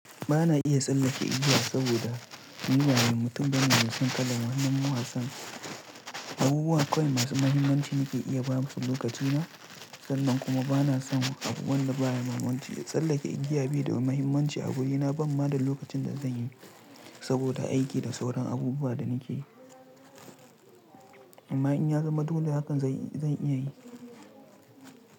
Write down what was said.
Ba na iya tsallake igiya saboda ni ba mutum bane mai san kala, wannan wa san abubuwa kawai masu mahimmanci nake iya basu lokaci na. Sannan kuma ba na son abu wanda baya mahimmanci ya tsallake igiya baida wani mahimmanci a wurina, ban ma da lokacin da zan yi saboda aiki da sauran abubuwa da nake yi. Amma in ya zama dole haka zan, zan iya yi.